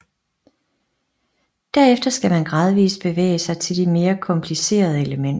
Derefter skal man gradvist bevæge sig til de mere komplicerede elementer